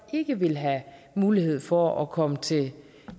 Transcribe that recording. ikke ville have mulighed for at komme til